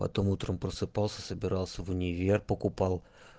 потом утром просыпался собирался в универ покупал